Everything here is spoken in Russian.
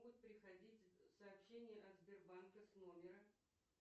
будут приходить сообщения от сбербанка с номера